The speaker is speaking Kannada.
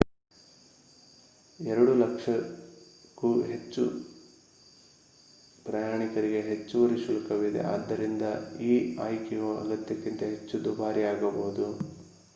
2 ಕ್ಕೂ ಹೆಚ್ಚು ಪ್ರಯಾಣಿಕರಿಗೆ ಹೆಚ್ಚುವರಿ ಶುಲ್ಕವಿದೆ ಆದ್ದರಿಂದ ಈ ಆಯ್ಕೆಯು ಅಗತ್ಯಕ್ಕಿಂತ ಹೆಚ್ಚು ದುಬಾರಿಯಾಗಬಹುದು